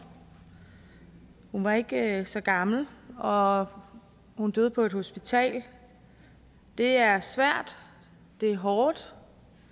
hun var ikke så gammel og hun døde på et hospital det er svært det er hårdt